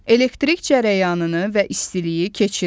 Elektrik cərəyanını və istiliyi keçirmir.